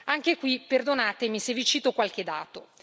Anche qui, perdonatemi se vi cito qualche dato.